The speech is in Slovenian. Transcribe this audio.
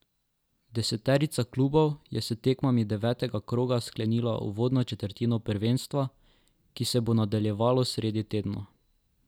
Deseterica klubov je s tekmami devetega kroga sklenila uvodno četrtino prvenstva, ki se bo nadaljevalo sredi tedna.